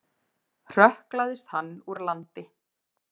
Hrökklaðist hann úr landi.